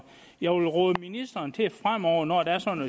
jeg vil råde ministeren til fremover når der er sådan